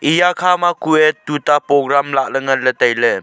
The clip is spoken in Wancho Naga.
eya khama kue tuta program lahle ngan le taile.